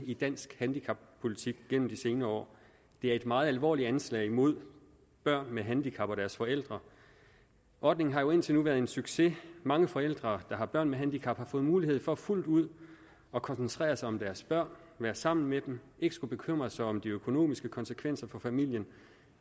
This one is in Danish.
i dansk handicappolitik gennem de senere år det er et meget alvorligt anslag mod børn med handicap og deres forældre ordningen har jo indtil nu været en succes mange forældre der har børn med handicap har fået mulighed for fuldt ud at koncentrere sig om deres børn være sammen med dem ikke skulle bekymre sig om de økonomiske konsekvenser for familien